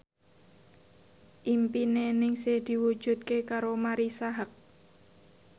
impine Ningsih diwujudke karo Marisa Haque